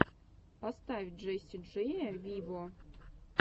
поставь джесси джея виво